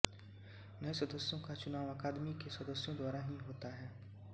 नए सदस्यों का चुनाव अकादमी के सदस्यों द्वारा ही होता है